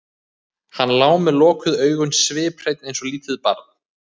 Hann lá með lokuð augun sviphreinn eins og lítið barn.